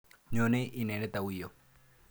Nyone inendet au yo?